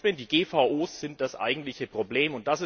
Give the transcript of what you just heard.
Die Organismen die GVO sind das eigentliche Problem.